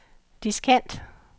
diskant